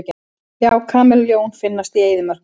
Já, kameljón finnast í eyðimörkum.